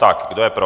Tak, kdo je pro?